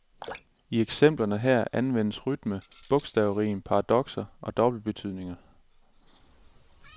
I eksemplerne her anvendes rytme, bogstavrim, paradokser og dobbeltbetydninger.